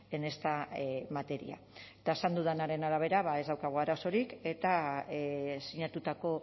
en esta materia eta esan dudanaren arabera ba ez daukagu arazorik eta sinatutako